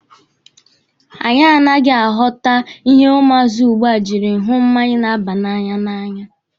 Anyị anaghị aghọta ihe ụmụazị ugbua jiri hụ mmanya na-aba na'anya n'anya.